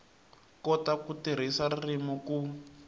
kota ku tirhisa ririmi ku